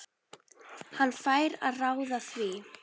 Hann fær að ráða því.